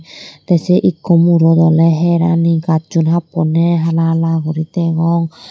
tey sei ikko murot oley herani gajjun happoney hala hala guri degong.